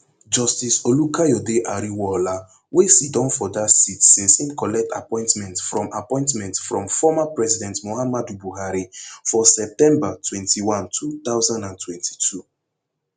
justice olukayode ariwoola wey siddon for dat seat since im collect appointment from appointment from former president muhammadu buhari for september twenty-one two thousand and twenty-two